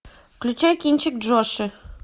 включай кинчик джоши